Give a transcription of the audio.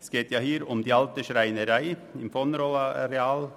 Es geht hier um die Alte Schreinerei auf dem vonRoll-Areal.